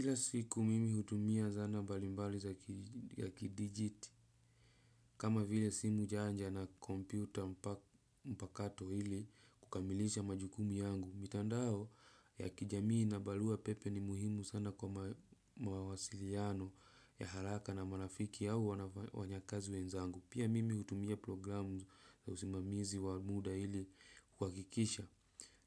Kila siku mimi hutumia zana mbalimbali za kidijiti, kama vile simu janja na kompyuta mpakato ili kukamilisha majukumu yangu. Mitandao ya kijamii na barua pepe ni muhimu sana kwa mawasiliano ya haraka na marafiki au wanyakazi wenzangu. Pia mimi hutumia programu za usimamizi wa muda ili kuhakikisha